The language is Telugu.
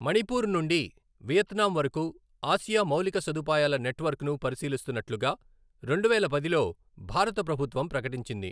మణిపూర్ నుండి వియత్నాం వరకు ఆసియా మౌలిక సదుపాయాల నెట్వర్క్ను పరిశీలిస్తున్నట్లుగా, రెండువేల పదిలో భారత ప్రభుత్వం ప్రకటించింది.